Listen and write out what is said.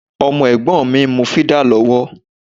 Ọmọ Ẹ̀gbọ́n mi ń mu fídà lọ́wọ́